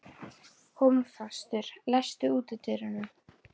Hólmfastur, læstu útidyrunum.